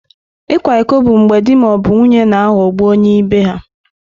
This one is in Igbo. Ịkwa iko bụ mgbe di ma ọ bụ nwunye na-aghọgbu onye ibe ha.